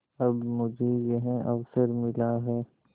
अब मुझे यह अवसर मिला है